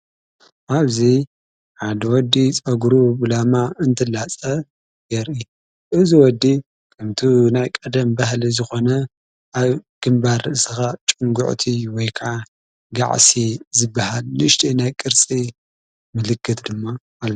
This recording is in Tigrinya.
ኣብዙይ ሓድ ወዲ ጸጕሩ ብላማ እንትላጸ የርኢ እዝ ወዲ ኽምቱ ናይ ቀደም ባህሊ ዝኾነ ኣ ግምባር ስኻ ጭንጕዑ ቲ ወይካዓ ጋዕሲ ዝበሃል ልሽቲ ናይ ቅርጺ ምልክት እዩ።